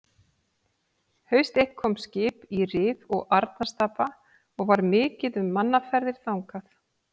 Haust eitt kom skip í Rif og Arnarstapa og var mikið um mannaferðir þangað.